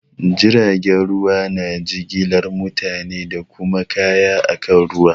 Jiragen ruwa na jigilar mutane da kuma kaya akan ruwa.